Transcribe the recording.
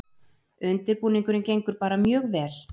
Undirbúningurinn gengur bara mjög vel